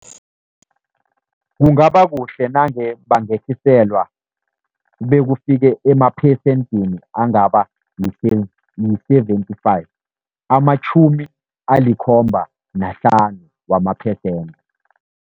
Kungaba kuhle nange bangehliselwa bekufike amaphesentini angaba yi-seventy-five, amatjhumi alikhomba nahlanu wama-percent.